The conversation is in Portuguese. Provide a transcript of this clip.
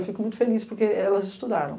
Eu fico muito feliz, porque elas estudaram.